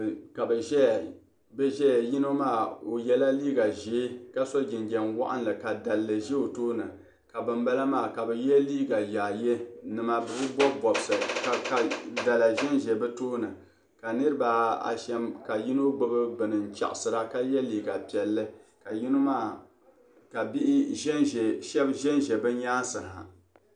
N nya niriba kabi ʒaya yinɔ maa ɔcyela liiga ʒɛɛ ka so jin jam waɣinli ka daligu ʒa ɔ tooni ka ban bala maa ka bi ye yaayi. nima bɛbi bɔb bɔbsi ka dala ʒɛ bɛ tooni ka niribi asham ,ka yinɔ gbubi bɛni n chaɣisira ka ye liiga piɛli ka shabi ʒanʒa bi nyaaŋa ha.